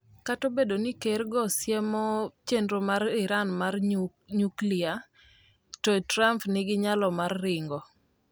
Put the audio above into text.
Kata obedo ni ker go siemo chenro mar Iran mar nyuklia, To Trump nigi nyalo mar ringo?